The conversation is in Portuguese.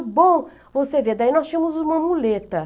O bom, você vê, daí nós tínhamos uma muleta.